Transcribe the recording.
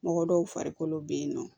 Mɔgɔ dɔw farikolo bɛ yen nɔ